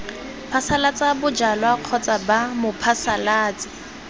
phasalatsa bojalwa kgotsa b mophasalatsi